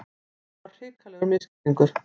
Þetta var hrikalegur misskilningur!